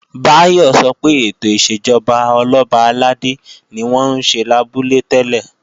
Báyọ̀ sọ pé ètò ìṣèjọba Ọlọ́ba àlàdé ni wọ́n ń ṣe lábúlé tẹ́lẹ̀